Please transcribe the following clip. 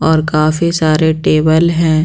और काफी सारे टेबल है।